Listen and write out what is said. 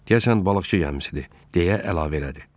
Deyəsən balıqçı gəmisidir, deyə əlavə elədi.